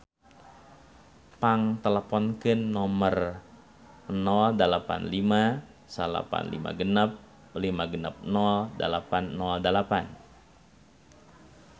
Pang teleponkeun nomer 085956560808